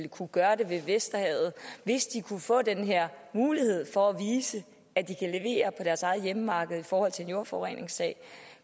kunne gøre det ved vesterhavet hvis de kunne få den her mulighed for at vise at de kan levere på deres eget hjemmemarked i forhold til en jordforureningssag